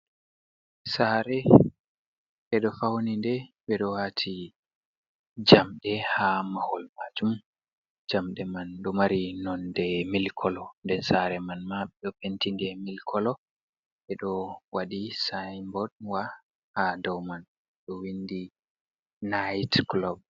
Saare ɓe ɗo fauni nɗe, ɓe ɗo waati jamɗe haa mahol maajum, jamɗe man ɗo mari nonde mili kolo nden saare man ma ɓe ɗo penti nɗe mili kolo ɓe ɗo waɗi saiboot wa Haa doo man ɗo windi nait culub.